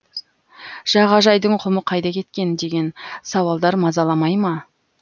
жағажайдың құмы қайда кеткен деген сауалдар мазаламай ма